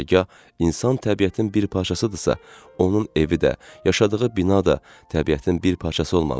Hərgah insan təbiətin bir parçasıdırsa, onun evi də, yaşadığı bina da təbiətin bir parçası olmalıdır.